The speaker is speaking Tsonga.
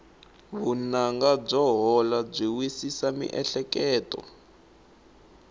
vunanga byo hola byi wisisa miehleketo